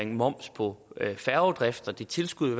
moms på færgedrift og det tilskud